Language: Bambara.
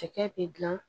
Cɛkɛ bɛ dilan